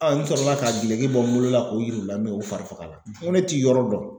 n sɔrɔla ka geleki bɔ n bolo la k'o yir'u la min kɛ u fari fagala n ko ne tɛ yɔrɔ dɔn.